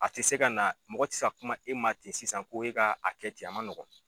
A tɛ se ka na mɔgɔ tɛ se kuma e ma ten sisan ko e ka a kɛ ten a man nɔgɔn.